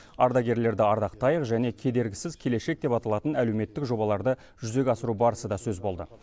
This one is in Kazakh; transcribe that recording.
ардагерлерді ардақтайық және кедергісіз келешек деп аталатын әлеуметтік жобаларды жүзеге асыру барысы да сөз болды